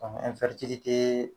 Ɔ